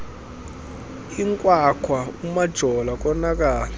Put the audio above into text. inkwakhwa umajola konakala